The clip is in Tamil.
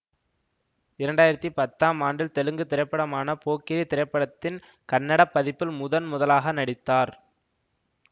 இரண்டாயிரத்தி பத்தாம் ஆண்டில் தெலுங்கு திரைப்படமான போக்கிரி திரைப்படத்தின் கன்னட பதிப்பில் முதன் முதலாக நடித்தார்